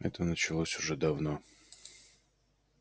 это началось уже давно